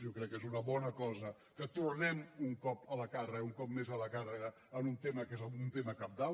jo crec que és una bona cosa que tornem un cop més a la càrrega en un tema que és un tema cabdal